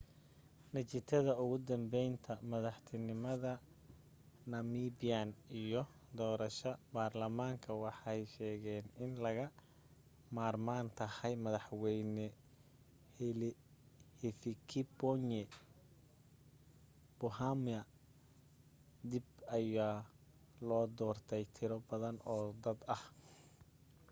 natiijada ugu dambeynta madaxtinimad namibian iyo doorasha barlamaanka waxay sheegeen in laga marmaan tahay madaxweyne hifikepunye pohamba dib ayaa loo doortay tiro badan oo dad ah